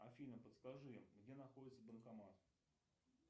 афина подскажи где находится банкомат